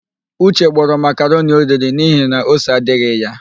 Uche gbọrọ makaroni oriri n'ihi na ose adịghị ya.